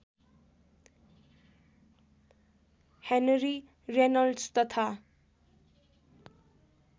Henry Reynolds तथा